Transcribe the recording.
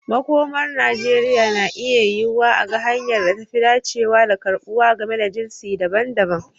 Makomar Najeriya na iya yiwuwa a ga hanyar da ta fi dacewa da karbuwa game da jinsi daban-daban.